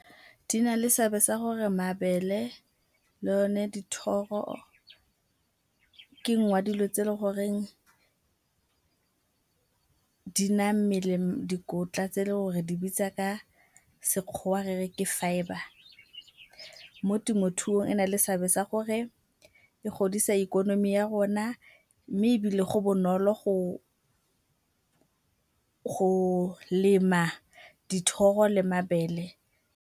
Di na le seabe sa gore mabele le o ne dithoro ke ngwe ya dilo tse le gore di naya mmele dikotla tse le gore re di bitsa ka sekgowa re re ke fibre. Mo temothuong e na le seabe sa gore e godisa ikonomi ya rona mme ebile go bonolo go lema dithoro le mabele.